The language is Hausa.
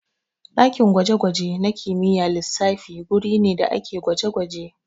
Ɗakin gwaje-gwaje na kimiyyar lissafi guri ne da ake gwaje-gwaje.